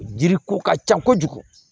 Jiri ko ka ca kojugu